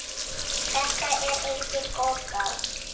Þetta er engin goðgá.